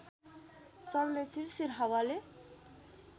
चल्ने सिरसिर हावाले